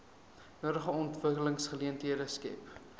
nodige ontwikkelingsgeleenthede skep